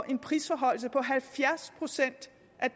en prisforhøjelse på halvfjerds procent